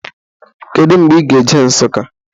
Kedu mgbe ị ga-eje Nsukka?